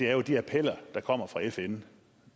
er jo de appeller der kommer fra fn